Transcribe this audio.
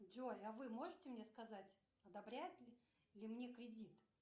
джой а вы можете мне сказать одобряют ли мне кредит